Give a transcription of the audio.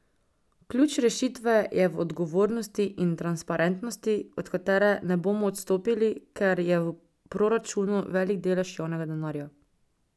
Ključ rešitve je v odgovornosti in transparentnosti, od katere ne bomo odstopili, ker je v proračunu velik delež javnega denarja.